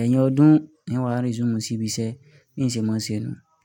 ẹ̀yin ọdún ni wàá resume síbi iṣẹ́ bi n semoọ́ṣe nu.